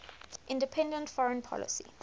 independent foreign policy